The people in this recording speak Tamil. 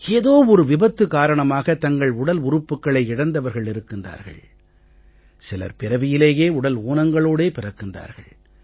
ஏதோ ஒரு விபத்து காரணமாக தங்கள் உடல் உறுப்புக்களை இழந்தவர்கள் இருக்கிறார்கள் சிலர் பிறவியிலேயே உடல் ஊனங்களோடே பிறக்கிறார்கள்